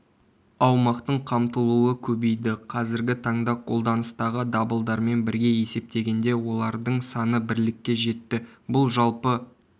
аумақтың қамтылуы көбейді қазіргі таңда қолданыстағы дабылдармен бірге есептегенде олардың саны бірлікке жетті бұл жалпы